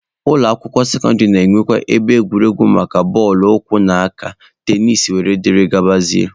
Ụlọ akwụkwọ sekọndịrị na-enwekwa ebe egwuregwu maka bọọlụ ụkwụ na nke aka, tenisi, wdg.